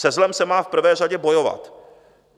Se zlem se má v prvé řadě bojovat.